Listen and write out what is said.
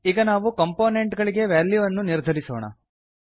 ಈಗ ನಾವು ಕಂಪೋನೆಂಟ್ ಗಳಿಗೆ ವಾಲ್ಯೂ ಅನ್ನು ನಿರ್ಧರಿಸೋಣ